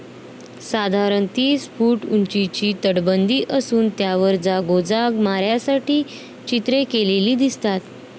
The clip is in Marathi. साधारण तीस फूट उंचीची तटबंदी असून त्यावर जागोजाग माऱ्या साठी चित्रे केलेली दिसतात